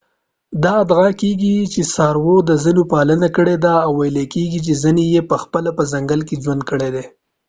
دا ادعا کيږي چې څارويو د ځینو پالنه کړې ده ویل کیږي چې ځینې یې پخپله په ځنګل کې ژوند کړی دی